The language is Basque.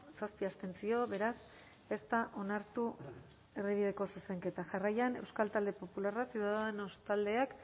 zazpi abstentzio beraz ez da onartu erdibideko zuzenketa jarraian euskal talde popularra ciudadanos taldeak